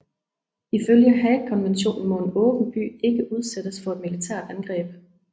Ifølge Haagkonventionen må en åben by ikke udsættes for et militært angreb